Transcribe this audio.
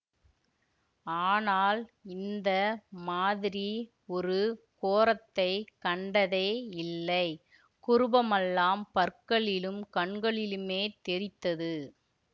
ஆனால் இந்த மாதிரி ஒரு கோரத்தைக் கண்டதே இல்லை குரூபமல்லாம் பற்களிலும் கண்களிலுமே தெறித்தது